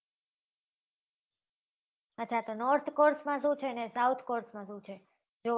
અચ્છા તો north cost માં શું છે ને south cost માં શું છે જોવા જેવું.